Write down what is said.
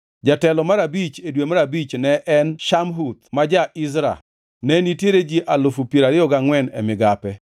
Jatelo mar abich e dwe mar abich ne en Shamhuth ma ja-Izra. Ne nitiere ji alufu piero ariyo gangʼwen (24,000) e migape.